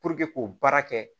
Puruke k'o baara kɛ